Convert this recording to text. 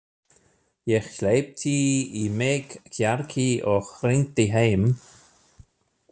Ég hleypti í mig kjarki og hringdi heim.